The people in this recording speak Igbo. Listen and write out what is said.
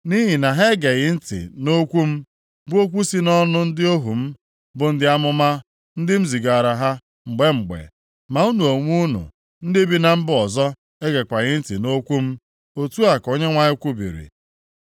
Nʼihi na ha egeghị ntị nʼokwu m, bụ okwu si nʼọnụ ndị ohu m bụ ndị amụma, ndị m zigaara ha mgbe mgbe. Ma unu onwe unu, ndị bi na mba ọzọ egekwaghị ntị nʼokwu m.” Otu a ka Onyenwe anyị kwubiri.